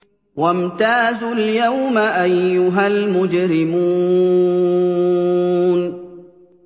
وَامْتَازُوا الْيَوْمَ أَيُّهَا الْمُجْرِمُونَ